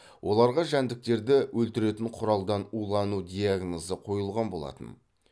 оларға жәндіктерді өлтіретін құралдан улану диагнозы қойылған болатын